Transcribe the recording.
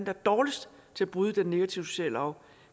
er dårligst til at bryde den negative sociale arv